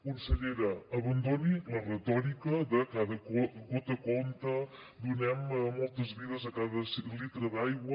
consellera abandoni la retòrica de cada gota compta donem moltes vides a cada litre d’aigua